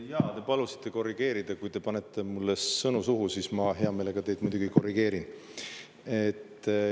Jaa, te palusite korrigeerida, kui te panete mulle sõnu suhu – ma hea meelega muidugi teid korrigeerin.